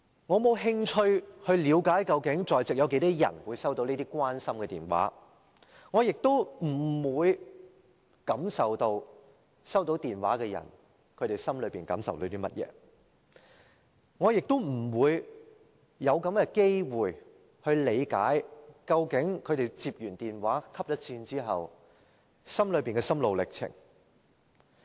我沒有興趣了解在席有多少人會收到這些關心的電話，我不會感受到收到電話的人心內有甚麼感受，我也沒有機會理解他們收到電話後的心路歷程。